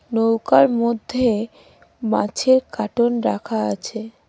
নৌকার মধ্যে মাছের কাটন রাখা আছে।